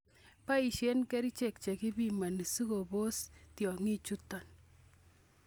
Boisien kerichek chekepiman sikobos tiong'ikchuton.